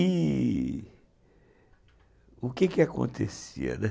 E... o que que acontecia, né...